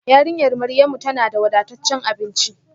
Yarinyar Maryamu tana da wadataccen abinci